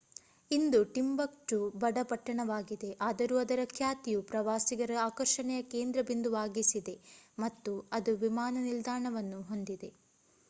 ಇಂದು Timbuktu ಬಡ ಪಟ್ಟಣವಾಗಿದೆ ಆದರೂ ಅದರ ಖ್ಯಾತಿಯು ಪ್ರವಾಸಿಗರ ಆಕರ್ಷಣೆಯ ಕೇಂದ್ರಬಿಂದುವಾಗಿಸಿದೆ ಮತ್ತು ಅದು ವಿಮಾನ ನಿಲ್ದಾಣವನ್ನು ಹೊಂದಿದೆ